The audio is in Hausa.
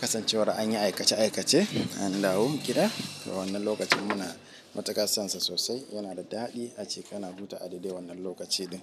Kasancewar an yi aikace aikace an dawo gida. Wannan lokacin muna matuka sonsa sosai yana da daɗi ace kana zu ta adade wannan lokaci din.